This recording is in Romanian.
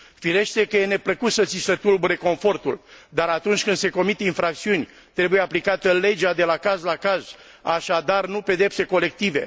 Firește că e neplăcut să ți se tulbure confortul, dar, atunci când se comit infracțiuni, trebuie aplicată legea de la caz la caz, așadar nu pedepse colective.